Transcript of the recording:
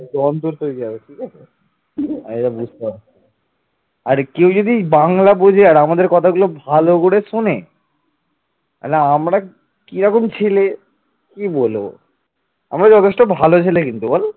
আমরা যথেষ্ট ভালো ছেলে কিন্তু বল?